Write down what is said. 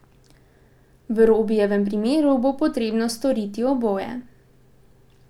V Robijevem primeru bo potrebno storiti oboje.